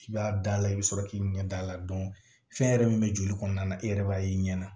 I b'a da a la i bɛ sɔrɔ k'i ɲɛ da a la fɛn yɛrɛ min bɛ joli kɔnɔna na i yɛrɛ b'a ye i ɲɛna